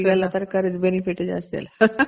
ಈಗೆಲ್ಲ ತರಕಾರಿದು benefit ಜಾಸ್ತಿ ಅಲ್ವ